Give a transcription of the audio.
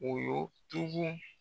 O y'o tugu